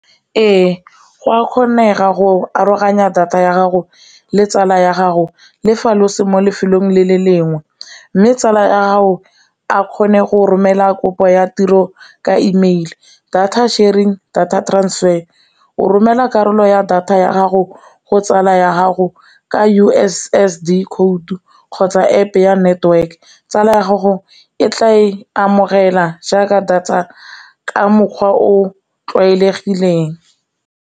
Ee, go a kgonega go aroganya data ya gago le tsala ya gago le fa lo se mo lefelong le le lengwe, mme tsala ya gago a kgone go romela kopo ya tiro ka email data sharing, data transfer o romela karolo ya data ya gago go tsala ya gago ka U_S_S_D khoutu kgotsa App ya network, tsala ya gago e tla e amogela jaaka data ka mokgwa o o tlwaelegileng.